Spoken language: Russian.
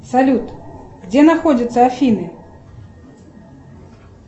салют где находятся афины